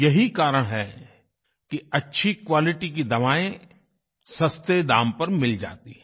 यही कारण है कि अच्छी क्वालिटी की दवाएं सस्ते दाम पर मिल जाती हैं